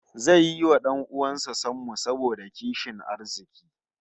Zai yi wa 'dan uwan sa sammu saboda kishin arziki